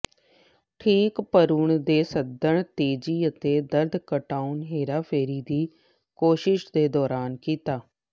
ਠੀਕ ਭਰੂਣ ਦੇ ਸਦਨ ਤੇਜੀ ਅਤੇ ਦਰਦ ਘਟਾਉਣ ਹੇਰਾਫੇਰੀ ਦੀ ਕੋਸ਼ਿਸ਼ ਦੇ ਦੌਰਾਨ ਕੀਤਾ